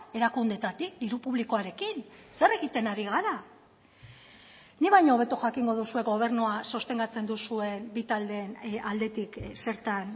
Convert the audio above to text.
erakundeetatik diru publikoarekin zer egiten ari gara nik baino hobeto jakingo duzue gobernua sostengatzen duzuen bi taldeen aldetik zertan